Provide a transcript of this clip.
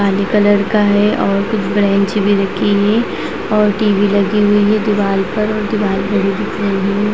काला कलर का है और कुछ बेंच भी रखी हुई और टी.वी. लगी हुई है दीवाल पर और दीवाल --